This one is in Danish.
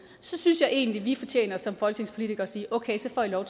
så synes jeg egentlig vi som folketingspolitikere sige okay så får i lov